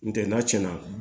N tɛ n'a cɛnna